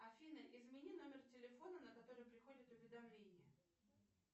афина измени номер телефона на который приходят уведомления